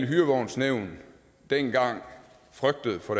hyrevognsnævn dengang frygtede for